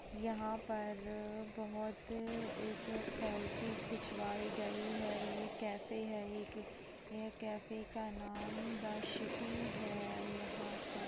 यहाँ पर अ बहुत एक सेल्फी खिंचवाई गई है यह कैफ है एक यह कैफे का नाम द सिटी है यहाँ पर--